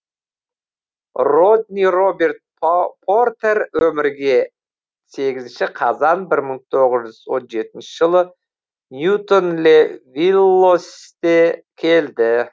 родни роберт портер өмірге сегізінші қазан бір мың тоғыз жүз он жетінші жылы ньютон ле виллоусте келді